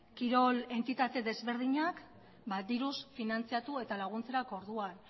kirol entitate desberdinak diruz finantzatu eta laguntzerako orduan